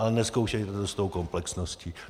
Ale nezkoušejte to s tou komplexností.